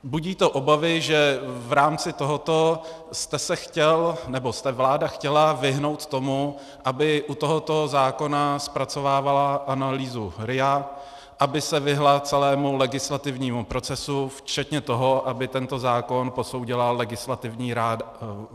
Budí to obavy, že v rámci tohoto jste se chtěl, nebo se vláda chtěla vyhnout tomu, aby u tohoto zákona zpracovávala analýzu RIA, aby se vyhnula celému legislativnímu procesu, včetně toho, aby tento zákon posoudila Legislativní rada vlády.